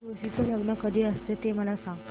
तुळशी चे लग्न कधी असते ते मला सांग